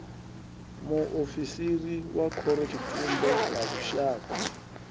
muofisiri wa khorotshitumbe wa lushaka